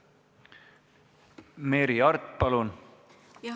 Merry Aart, palun!